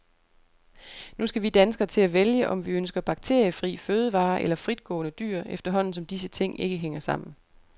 Nu skal vi danskere til at vælge, om vi ønsker bakteriefri fødevarer eller fritgående dyr, efterhånden som disse ting ikke hænger sammen.